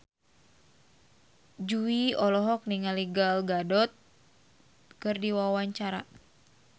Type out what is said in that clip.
Jui olohok ningali Gal Gadot keur diwawancara